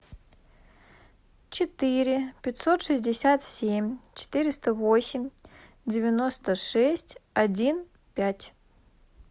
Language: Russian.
четыре пятьсот шестьдесят семь четыреста восемь девяносто шесть один пять